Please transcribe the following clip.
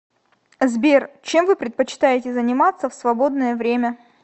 сбер чем вы предпочитаете заниматься в свободное время